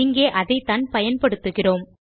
இங்கே அதைத்தான் பயன்படுத்துகிறோம்